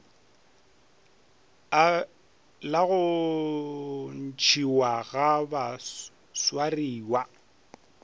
la go ntšhiwa ga baswariwa